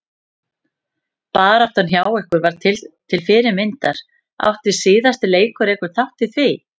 Baráttan hjá ykkur var til fyrirmyndar, átti síðasti leikur einhvern þátt í því?